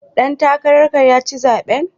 Ɗan takarar ka ya ci zaɓen.